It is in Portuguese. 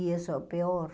E isso é o pior.